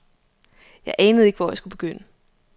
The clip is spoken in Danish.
Jeg anede ikke, hvor jeg skulle begynde.